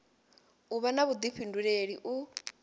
u vha na vhuḓifhinduleli u